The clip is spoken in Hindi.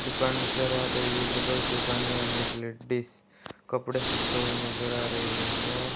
दुकान नजर आ रही है तथा उस दुकान में हमें एक लेडीज कपड़े सिलती हुई नजर आ रही है वह --